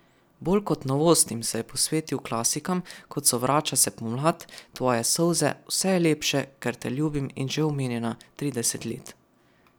Bolj kot novostim se je posvetil klasikam, kot so Vrača se pomlad, Tvoje solze, Vse je lepše, ker te ljubim in že omenjena Trideset let.